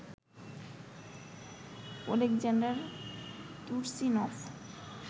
Oleksandr Turchynov